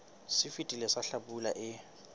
se fetileng sa hlabula e